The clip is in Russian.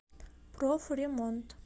профремонт